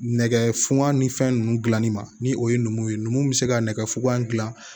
Nɛgɛ fuga ni fɛn ninnu dilanni ma ni o ye numu ye numu bɛ se ka nɛgɛ fukan gilan